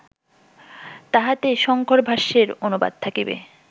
তাহাতে শঙ্করভাষ্যের অনুবাদ থাকিবে